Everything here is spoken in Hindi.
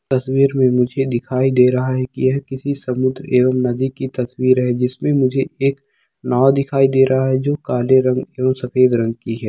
तस्वीर में मुझे दिखाई दे रहा है कि यह किसी समुन्द्र एवं नदी की तस्वीर है जिसमे मुझे एक दिखाई दे रहा है जो काले रंग और सफेद रंग की है।